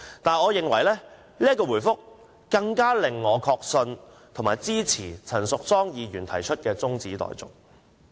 主席的回覆令我更確信及支持陳淑莊議員提出的中止待續議案。